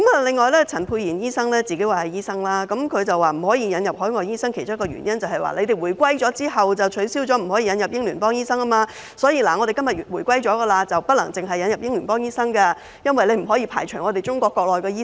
此外，陳沛然議員說自己是醫生，他指不可以引入海外醫生的其中一個原因，是香港回歸後，已取消引入英聯邦醫生，現在若要引入海外醫生，便不可以只引入英聯邦醫生，因為不能排除中國國內的醫生。